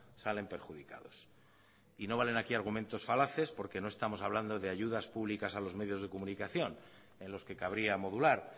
salen perjudicados y no valen aquí argumentos falaces porque no estamos hablando de ayudas públicas a los medios de comunicación en los que cabría modular